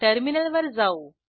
टर्मिनलवर जाऊ